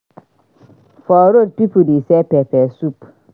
For road people dey sell pepper soup